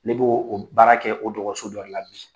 Ne b'oo o baara kɛ o dɔgɔso dɔ de la bi.